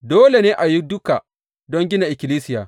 Dole ne a yi duka don gina ikkilisiya.